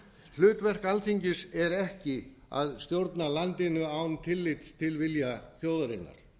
hlutverk alþingis er ekki að stjórna landinu án tillits til vilja þjóðarinnar